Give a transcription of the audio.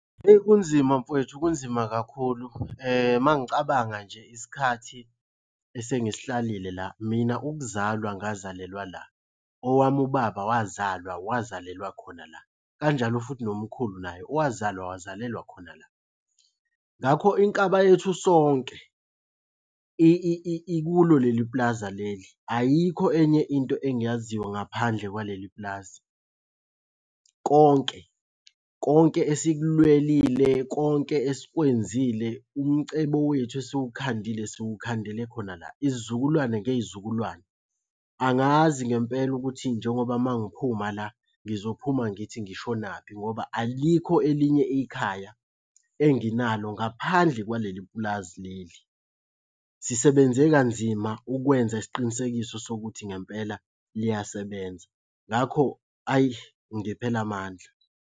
Eyi kunzima mfwethu kunzima kakhulu, uma ngicabanga nje isikhathi esengisihlalile la. Mina ukuzalwa ngazalelwa la. Owami ubaba wazalwa wazalelwa khona la. Kanjalo futhi nomkhulu naye wazalwa wazalelwa khona la. Ngakho inkaba yethu sonke ikulo leli plaza leli, ayikho enye into engiyaziyo ngaphandle kwaleli pulazi. Konke konke esikulwelile, konke esikwenzile, umcebo wethu esiwukhandile siwukhandele khona la. Izizukulwane ngey'zukulwane. Angazi ngempela ukuthi njengoba uma ngiphuma la ngizophuma ngithi ngishonaphi ngoba alikho elinye ikhaya enginalo ngaphandle kwaleli pulazi leli. Sisebenze kanzima ukwenza isiqinisekiso sokuthi ngempela liyasebenza, ngakho hhayi ngiphela amandla.